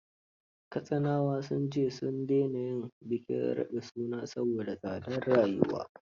Katsinawa sun ce; sun daina yin bikin raɗin suna saboda tsadar rayuwa